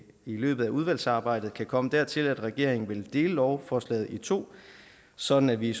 løbet af udvalgsarbejdet kan komme dertil at regeringen vil dele lovforslag i to sådan at vi i